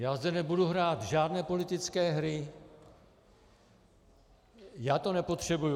Já zde nebudu hrát žádné politické hry, já to nepotřebuji.